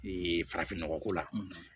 farafinnɔgɔ ko la